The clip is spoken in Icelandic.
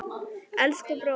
Elsku bróðir!